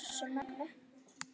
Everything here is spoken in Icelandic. Við pössum mömmu.